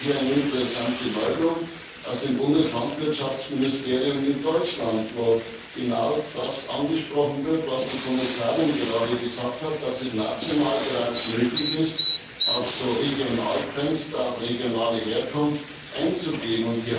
Ich habe hier eine interessante Meldung aus dem Bundeslandwirtschaftsministerium in Deutschland, wo genau das angesprochen wird, was die Kommissarin gerade gesagt hat Dass es national bereits möglich ist, auf Regionalfenster, auf regionale Herkunft einzugehen.